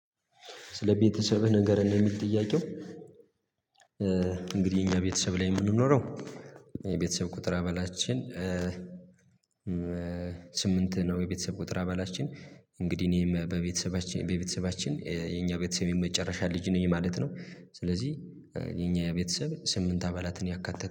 ስለ ቤተሰብህ ንገረን ነው እሚል ጥያቄው? እንግዲህ የኛ ቤተሰብ ላይ የምንኖረው ቁጥር አባላችን። ስምንት ነው የቤተሰብ ቁጥር አባላችን እንግዲህ እኔም በቤተሰባችን በቤተሰባችን የኛ ቤተሰብ የመጨረሻ ልጅ ነኝ ማለት ነው። ስለዚህ የኛ የቤተሰብ ስምንት አባላትን ያካተተ